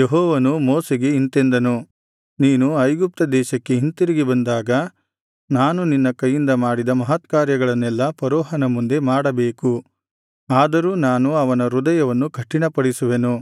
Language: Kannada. ಯೆಹೋವನು ಮೋಶೆಗೆ ಇಂತೆಂದನು ನೀನು ಐಗುಪ್ತ ದೇಶಕ್ಕೆ ಹಿಂತಿರುಗಿ ಬಂದಾಗ ನಾನು ನಿನ್ನ ಕೈಯಿಂದ ಮಾಡಿದ ಮಹತ್ಕಾರ್ಯಗಳನ್ನೆಲ್ಲಾ ಫರೋಹನ ಮುಂದೆ ಮಾಡಬೇಕು ಆದರೂ ನಾನು ಅವನ ಹೃದಯವನ್ನು ಕಠಿಣಪಡಿಸುವೆನು